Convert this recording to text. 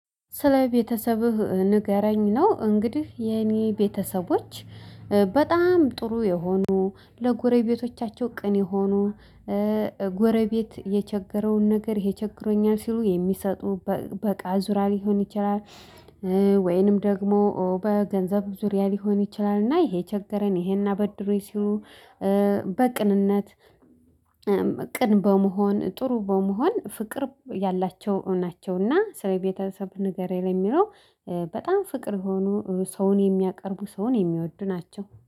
ስለ ቤተሰብህ ንገረኝ ነው እንግዲህ የኔ ቤተሰቦች በጣም ጥሩ የሆኑ ለጎረቤቶቻቸው ቅን የሆኑ። ጎረቤት የቸገረውን ነገር ይሄ ቸገሮኛል ሲሉ የሚሰጡ በቃ ዙሪያ ሊሆን ይችላል። ወይንም ደግሞ በገንዘብ ዙሪያ ሊሆን ይችላል እና ይሄ ቸገረን ይሄን አበድሩኝ ሲሉ። በቅንነት ቅን በመሆን ጥሩ በመሆን ፍቅር ያላቸው ናቸው። እና ስለ ቤተሰብ ንገረኝ የሚለው? በጣም ፍቅር ሆነው ሰውን የሚያቀርቡ ሰውን የሚወድ ናቸው